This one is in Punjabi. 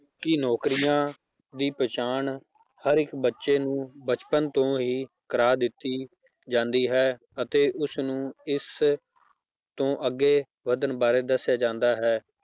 ਕਿ ਨੌਕਰੀਆਂ ਦੀ ਪਹਿਚਾਣ ਹਰ ਇੱਕ ਬੱਚੇ ਨੂੰ ਬਚਪਨ ਤੋਂ ਹਿ ਕਰਵਾ ਦਿੱਤੀ ਜਾਂਦੀ ਹੈ ਅਤੇ ਉਸਨੂੰ ਇਸ ਤੋਂ ਅੱਗੇ ਵੱਧਣ ਬਾਰੇ ਦੱਸਿਆ ਜਾਂਦਾ ਹੈ।